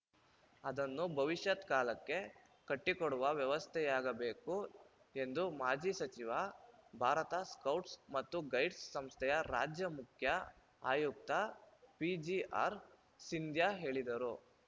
ಅದನ್ನು ಭವಿಷ್ಯತ್‌ ಕಾಲಕ್ಕೆ ಕಟ್ಟಿಕೊಡುವ ವ್ಯವಸ್ಥೆಯಾಗಬೇಕು ಎಂದು ಮಾಜಿ ಸಚಿವ ಭಾರತ ಸ್ಕೌಟ್ಸ್‌ ಮತ್ತು ಗೈಡ್ಸ್‌ ಸಂಸ್ಥೆಯ ರಾಜ್ಯ ಮುಖ್ಯ ಆಯುಕ್ತ ಪಿಜಿಆರ್‌ಸಿಂಧ್ಯಾ ಹೇಳಿದರು